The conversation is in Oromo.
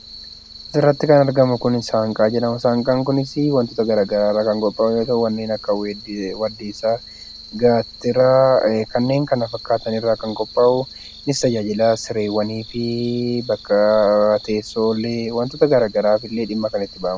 Asirratti kan argamu saanqaa jedhama. Saanqaan kunis waantota garaagaraa irraa kan qophaa'u kanneen akka waddeesaaa, gaatiraa kanneen kana fakkaatan irraa kan qophaa'u, innis tajaajila sireewwanii fi bakka teessoo illee waantota garaagaraaf illee dhimma kan itti bahamudha.